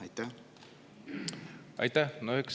Aitäh!